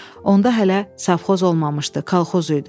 Onda hələ safxoz olmamışdı, kalxoz idi.